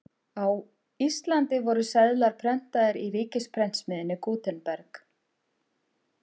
Á Íslandi voru seðlar prentaðir í ríkisprentsmiðjunni Gutenberg.